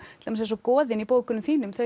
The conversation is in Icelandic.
til dæmis eins og goðin í bókunum þínum þau